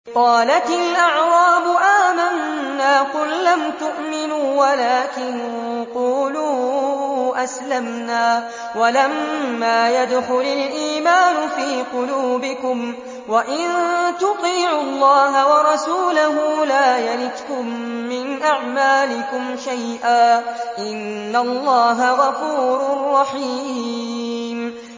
۞ قَالَتِ الْأَعْرَابُ آمَنَّا ۖ قُل لَّمْ تُؤْمِنُوا وَلَٰكِن قُولُوا أَسْلَمْنَا وَلَمَّا يَدْخُلِ الْإِيمَانُ فِي قُلُوبِكُمْ ۖ وَإِن تُطِيعُوا اللَّهَ وَرَسُولَهُ لَا يَلِتْكُم مِّنْ أَعْمَالِكُمْ شَيْئًا ۚ إِنَّ اللَّهَ غَفُورٌ رَّحِيمٌ